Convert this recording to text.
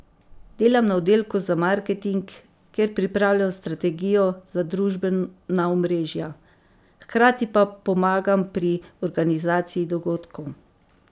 Delam na oddelku za marketing, kjer pripravljam strategijo za družbena omrežja, hkrati pa pomagam pri organizaciji dogodkov.